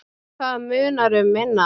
Og það munar um minna.